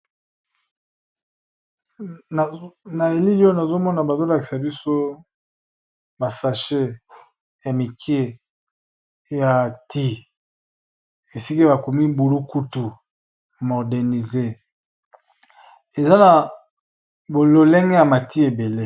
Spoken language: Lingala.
Na elili oyo nazomona bazolakisa biso ma sache ya mikie ya ti, esika bakomi bulukutu modernisé eza na ba lolenge ya ba ti ebele.